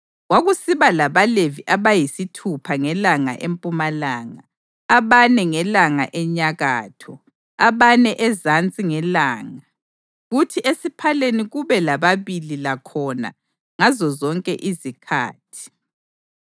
Kwakusiba labaLevi abayisithupha ngelanga empumalanga, abane ngelanga enyakatho, abane ezansi ngelanga kuthi esiphaleni kube lababili lakhona ngazozonke izikhathi.